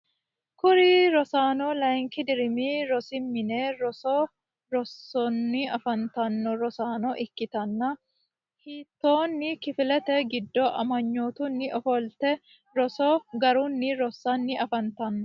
kuri rosaano layinki dirimi rosi mine roso rossanno afantanno rosaano ikkitanni hattonni kifilete giddo amanyootunni ofolatenni roso garunni rossanni afantanno.